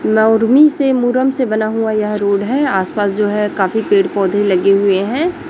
नोरमी से मुरम से बना हुआ यह रोड है। आस-पास जो है काफी पेड़-पौधे लगे हुए है।